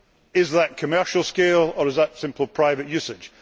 Is that commercial scale', or is that simple private usage?